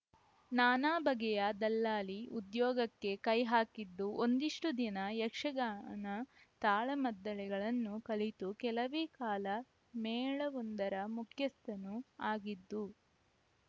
ನಾನಾ ಬಗೆಯ ದಲ್ಲಾಲಿ ಉದ್ಯೋಗಕ್ಕೆ ಕೈಹಾಕಿದ್ದು ಒಂದಿಷ್ಟುದಿನ ಯಕ್ಷಗಾನ ತಾಳಮದ್ದಲೆಗಳನ್ನು ಕಲಿತು ಕೆಲವೇ ಕಾಲ ಮೇಳವೊಂದರ ಮುಖ್ಯಸ್ಥನೂ ಆಗಿದ್ದು